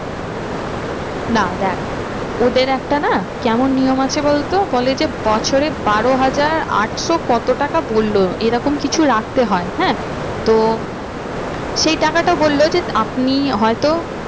না দেখ ওদের একটা না কেমন নিয়ম আছে বল তো বলে যে বছরে বারো হাজার আটশো কত টাকা বললো এরকম কিছু রাখতে হয় হ্যাঁ তো সেই টাকাটা বললো যে আপনি হয়তো